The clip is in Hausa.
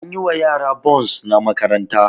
An yi wa yara bons na makaranta